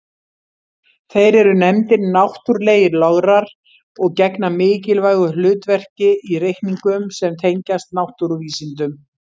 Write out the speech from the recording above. Þeir eru nefndir náttúrlegir lograr og gegna mikilvægu hlutverki í reikningum sem tengjast náttúruvísindum.